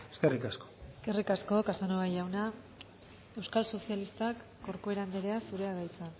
eskerrik asko eskerrik asko casanova jauna euskal sozialistak corcuera andrea zurea da hitza